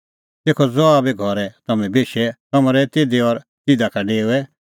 तेखअ ज़हा घरै बी तम्हैं बेशे तम्हैं रहै तिधी और तिधी का डेओऐ